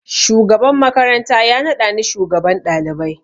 Shugaban makaranta ya naɗa ni shugaban ɗalibai